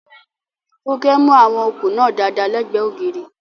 Funke mú àwọn okùn náà dáadáa lẹ́gbẹ̀ẹ́ ògiri.